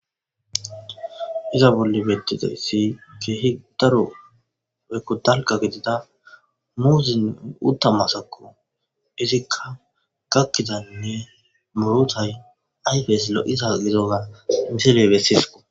Izza bolli bettizayisi kehi daro woyikko dalgga gidida muzze woyikko utta maasakko izika gakidanne murutay ayifes lo'iza gidoba missiley besses.